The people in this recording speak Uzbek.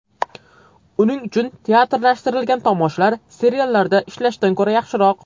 Uning uchun teatrlashtirilgan tomoshalar seriallarda ishlashdan ko‘ra yaxshiroq.